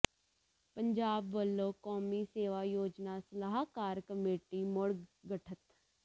ਪੰਜਾਬ ਵੱਲੋਂ ਕੌਮੀ ਸੇਵਾ ਯੋਜਨਾ ਸਲਾਹਕਾਰ ਕਮੇਟੀ ਮੁੜ ਗਠਤ